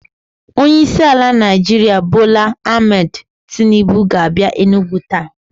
Onye isi ala Naijiria Bola Ahmed Tinubu ga a bia Enugwu taa